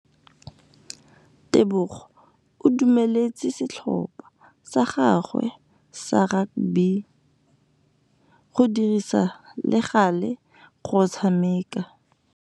Tebogô o dumeletse setlhopha sa gagwe sa rakabi go dirisa le galê go tshameka.